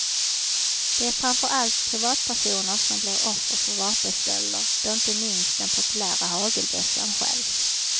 Det är framför allt privatpersoner som blir offer för vapenstölder då inte minst den populära hagelbössan stjäls.